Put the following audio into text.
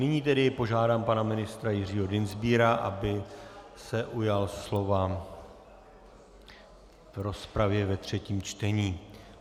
Nyní tedy požádám pana ministra Jiřího Dienstbiera, aby se ujal slova v rozpravě ve třetím čtení.